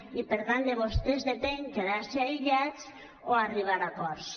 i per tant de vostès depèn quedar se aïllats o arribar a acords